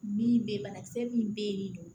Min bɛ yen banakisɛ min bɛ yen